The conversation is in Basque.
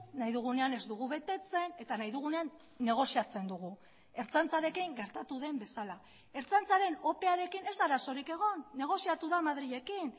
nahi dugunean ez dugu betetzen eta nahi dugunean negoziatzen dugu ertzaintzarekin gertatu den bezala ertzaintzaren opearekin ez da arazorik egon negoziatu da madrilekin